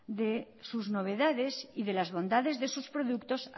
de sus novedades y de las bondades de sus productos